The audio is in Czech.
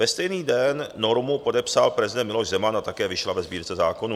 Ve stejný den normu podepsal prezident Miloš Zeman a také vyšla ve Sbírce zákonů.